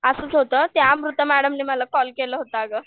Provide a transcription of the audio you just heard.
असंच होतं त्या अमृता मॅडमांनी मला कॉल केला होता अगं.